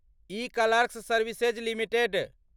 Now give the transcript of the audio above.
eClerx Services limited